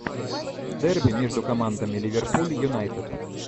дерби между командами ливерпуль и юнайтед